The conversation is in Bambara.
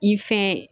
I fɛ